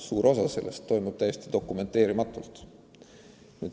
Suur osa sellest toimub täiesti dokumenteerimatult.